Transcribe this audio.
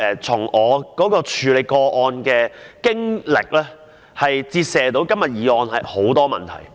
從我處理個案的經歷，折射出今天的議案帶出很多問題。